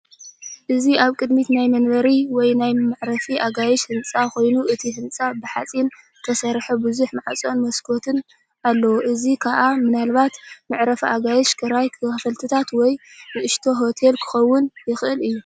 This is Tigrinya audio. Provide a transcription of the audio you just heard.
እዚ ኣብ ቅድሚት ናይ መንበሪ ወይ ናይ መዕረፊ ኣጋይሽ ህንጻ ኮይኑ እቲ ህንጻ ብሓጺን ዝተሰርሐ ብዙሕ ማዕፆን መሳዅትን ኣለዎ እዚ ኸኣ ምናልባት መዕረፊ ኣጋይሽ ክራይ ክፍልታት ወይ ንእሽቶ ሆቴል ኪኸውን ይኽእል እዩ።